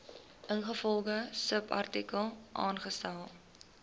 ingevolge subartikel aangestel